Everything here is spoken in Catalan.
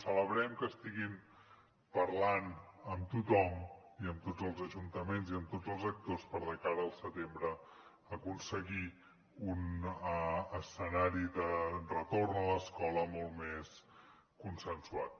celebrem que estiguin parlant amb tothom i amb tots els ajuntaments i amb tots els actors per de cara al setembre aconseguir un escenari de retorn a l’escola molt més consensuat